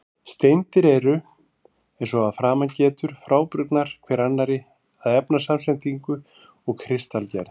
Steindir eru, eins og að framan getur, frábrugðnar hver annarri að efnasamsetningu og kristalgerð.